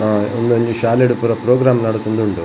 ಆ ಉಂದು ಒಂಜಿ ಶಾಲೆಡ್ ಪೂರ ಪ್ರೋಗ್ರಾಮ್ ನಡತೊಂದು ಉಂಡು.